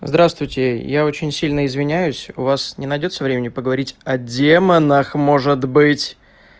здравствуйте я очень сильно извиняюсь у вас не найдётся времени поговорить о демонах может быть